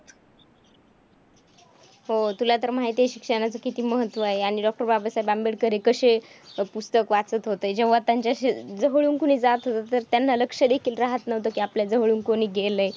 हो, तुला तर माहिती आहे शिक्षणाचं किती महत्त्व आहे आणि Doctor बाबासाहेब आंबेडकर हे कशे पुस्तक वाचत होते. जेव्हा त्यांच्या जवळून कोणी जात होतं, तर त्यांना लक्ष देखील राहत नव्हतं कि आपल्या जवळून कोणी गेलंय.